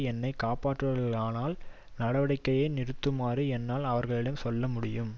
என்னை காப்பாற்றுவார்களானால் நடவடிக்கையை நிறுத்துமாறு என்னால் அவர்களிடம் சொல்ல முடியும்